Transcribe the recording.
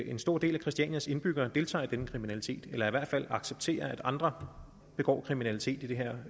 en stor del af christianias indbyggere deltager i denne kriminalitet eller i hvert fald accepterer at andre begår kriminalitet i det her